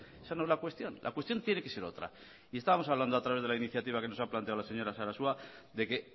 esa no es la cuestión la cuestión tiene que ser otra y estábamos hablando a través de la iniciativa que nos ha planteado la señora sarasua de que